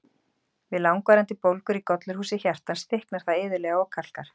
Við langvarandi bólgur í gollurhúsi hjartans, þykknar það iðulega og kalkar.